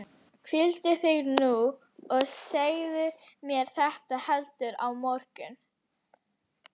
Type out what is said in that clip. Hvíldu þig nú og segðu mér þetta heldur á morgun.